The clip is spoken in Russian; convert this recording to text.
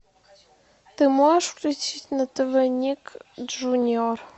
ты можешь включить на тв ник джуниор